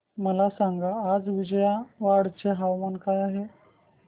मला सांगा आज विजयवाडा चे तापमान काय आहे